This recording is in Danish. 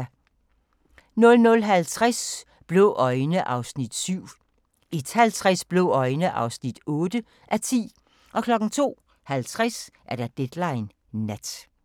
00:50: Blå øjne (7:10) 01:50: Blå øjne (8:10) 02:50: Deadline Nat